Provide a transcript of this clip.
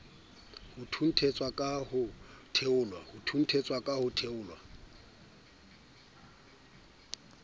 ho thunthetswa ka ho theolelwa